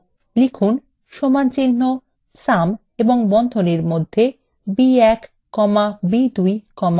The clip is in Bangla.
লিখুন সমানচিহ্ন sum এবং বন্ধনীর মধ্যে b1 comma b2 comma b3